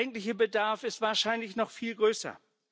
Der eigentliche Bedarf ist wahrscheinlich noch viel größer.